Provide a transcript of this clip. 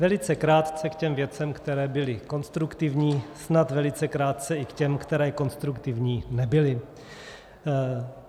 Velice krátce k těm věcem, které byly konstruktivní, snad velice krátce i k těm, které konstruktivní nebyly.